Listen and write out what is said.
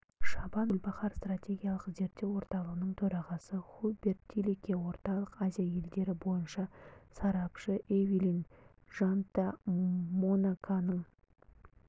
шабан гүлбахар стратегиялық зерттеу орталығының төрағасы хуберт тилике орталық азия елдері бойынша сарапшы эвелин жанта монаконың